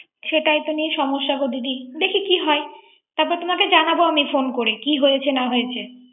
সেটাই তো নিয়ে সমস্যাগো দিদি, দেখি কি হয়। তারপর তোমাকে জানাব আমি ফোন করে। কি হয়েছে না হয়েছে